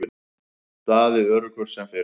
Daði öruggur sem fyrr.